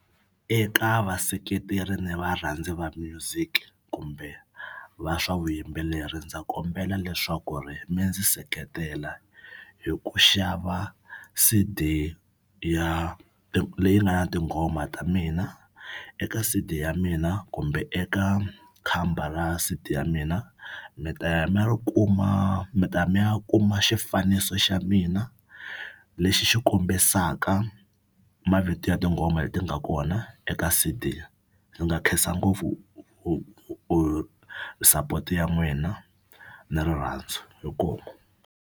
Eka vaseketeri ni varhandzi va music kumbe va swa vuyimbeleri ndza kombela leswaku ri mi ndzi seketela hi ku xava C_D ya leyi nga na tinghoma ta mina. Eka C_D ya mina kumbe eka khamba ra C_D ya mina mi ta ya mi ya ri kuma mi ta mi ya kuma xifaniso xa mina lexi xi kombisaka mavito ya tinghoma leti nga kona eka C_D. Ndzi nga khensa ngopfu u u support ya n'wina na rirhandzu inkomu.